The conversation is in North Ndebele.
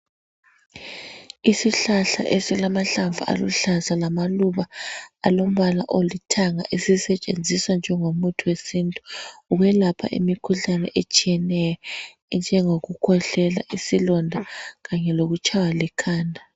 Isihlahla esilamahlamvu aluhlaza lamaluba alombala olithanga esisetshenziswa njengo muthi wesintu ukwelapha imikhuhlane etshiyeneyo njengoku khwehlela isilonda kanye lokutshaywa likhanda.